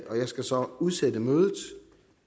jeg skal så udsætte mødet